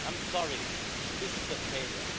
I'm sorry, this is a failure.